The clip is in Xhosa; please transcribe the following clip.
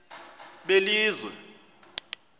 belizwe